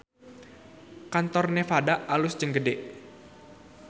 Kantor Nevada alus jeung gede